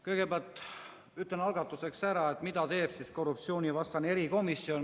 Kõigepealt ütlen algatuseks ära, mida teeb korruptsioonivastane erikomisjon.